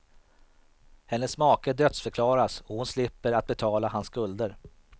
Hennes make dödsförklaras och hon slipper att betala hans skulder.